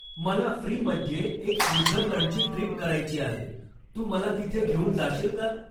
मला फ्रीमध्ये एक स्वित्झर्लंडची ट्रीप करायची आहे तू मला तिथे घेऊन जाशील का